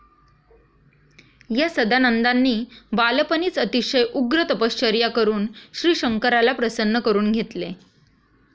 या सदानंदानी बालपणीच आतिशय उग्र तपश्चर्या करून श्रीशंकराला प्रसन्न करून घेतले.